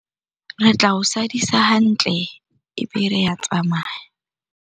Re tla o sadisa hantle ebe re a tsamaya.